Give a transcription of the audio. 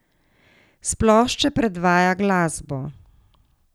S plošče predvaja glasbo.